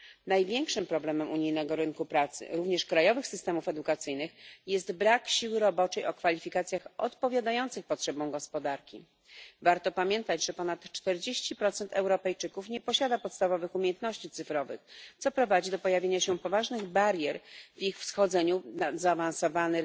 Największym problemem unijnego rynku pracy również krajowych systemów edukacyjnych jest brak siły roboczej o kwalifikacjach odpowiadających potrzebom gospodarki. Warto pamiętać, że ponad 40 Europejczyków nie posiada podstawowych umiejętności cyfrowych, co prowadzi do pojawienia się poważnych barier w ich wchodzeniu na zaawansowany